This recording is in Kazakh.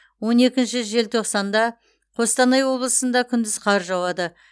он екінші желтоқсанда қостанай облысында күндіз қар жауады